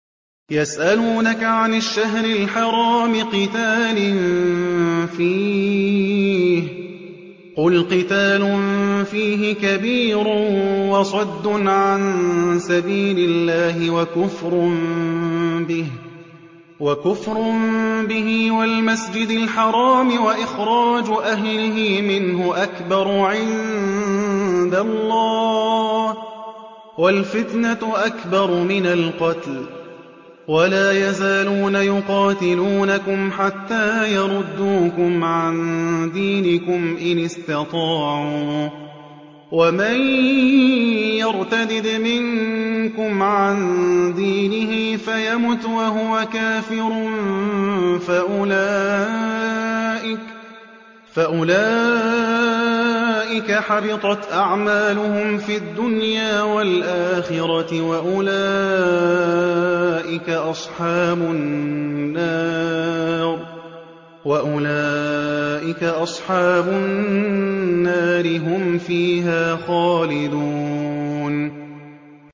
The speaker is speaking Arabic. يَسْأَلُونَكَ عَنِ الشَّهْرِ الْحَرَامِ قِتَالٍ فِيهِ ۖ قُلْ قِتَالٌ فِيهِ كَبِيرٌ ۖ وَصَدٌّ عَن سَبِيلِ اللَّهِ وَكُفْرٌ بِهِ وَالْمَسْجِدِ الْحَرَامِ وَإِخْرَاجُ أَهْلِهِ مِنْهُ أَكْبَرُ عِندَ اللَّهِ ۚ وَالْفِتْنَةُ أَكْبَرُ مِنَ الْقَتْلِ ۗ وَلَا يَزَالُونَ يُقَاتِلُونَكُمْ حَتَّىٰ يَرُدُّوكُمْ عَن دِينِكُمْ إِنِ اسْتَطَاعُوا ۚ وَمَن يَرْتَدِدْ مِنكُمْ عَن دِينِهِ فَيَمُتْ وَهُوَ كَافِرٌ فَأُولَٰئِكَ حَبِطَتْ أَعْمَالُهُمْ فِي الدُّنْيَا وَالْآخِرَةِ ۖ وَأُولَٰئِكَ أَصْحَابُ النَّارِ ۖ هُمْ فِيهَا خَالِدُونَ